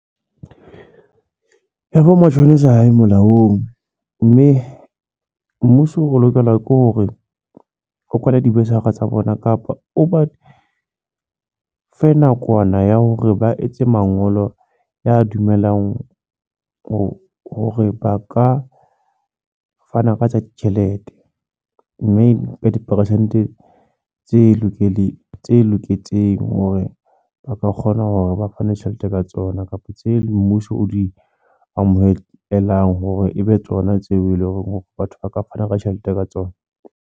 Mashonesa hae molaong, mme mmuso o lokela ke hore, o kwale tsa bona kapa oba fe nakwana ya hore ba etse mangolo ya dumelang hore ba ka fana ka tsa ditjhelete mme empa diperesente tse loketseng hore ba ka kgona hore ba fane tjhelete ka tsona kapa tse mmuso o di amohelang hore ebe tsona tseo eleng hore batho ba ka fana ka tjhelete ka tsona.